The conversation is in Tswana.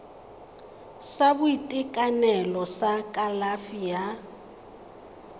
sa boitekanelo sa kalafi ya